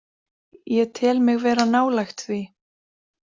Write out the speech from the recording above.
Ég tel mig vera nálægt því.